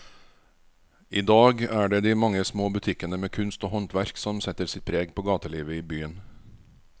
I dag er det de mange små butikkene med kunst og håndverk som setter sitt preg på gatelivet i byen.